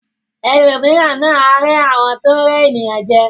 Ẹlòmíràn náà a rẹ àwọn tó n rẹ ènìyàn jẹ.